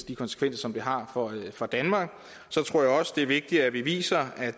de konsekvenser som det har for danmark så tror jeg også at det er vigtigt at vi viser at